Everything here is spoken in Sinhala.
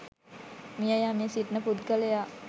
මිය යමින් සිටින පුද්ගලයා